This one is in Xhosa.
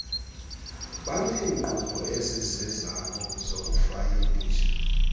baneenkqubo ezizezabo zokufayilisha